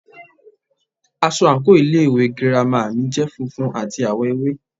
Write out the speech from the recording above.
Aṣọ àǹkóò ilé ìwé girama mi jẹ́ funfun àti àwọ̀ ewé.